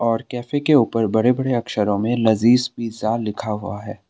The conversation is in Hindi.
और कैफ़े के उपर बड़े बड़े अक्षरों में लजीज पिज्जा लिखा हुआ है।